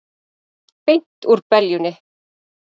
Beint úr beljunni!